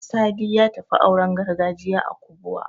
Sadi ya tafi auren gargajiya a Kubuwa.